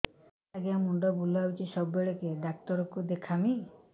ଆଜ୍ଞା ମୁଣ୍ଡ ବୁଲାଉଛି ସବୁବେଳେ କେ ଡାକ୍ତର କୁ ଦେଖାମି